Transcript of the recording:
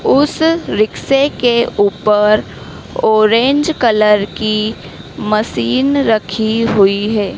उस रिक्शे के ऊपर ऑरेंज कलर मशीन रखी हुई है।